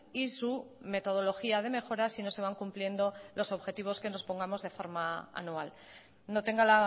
y su metodología de mejora si no se van cumpliendo los objetivos que nos pongamos de forma anual no tenga